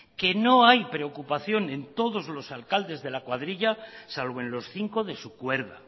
que no hay preocupación en todos los alcaldes de la cuadrilla salvo en los cinco de su cuerda